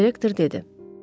direktor dedi.